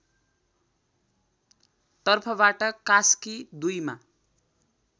तर्फबाट कास्की २ मा